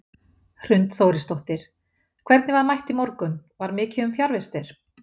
Hrund Þórisdóttir: Hvernig var mætt í morgun, var mikið um fjarvistir?